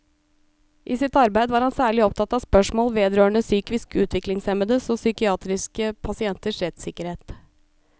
I sitt arbeid var han særlig opptatt av spørsmål vedrørende psykisk utviklingshemmedes og psykiatriske pasienters rettssikkerhet.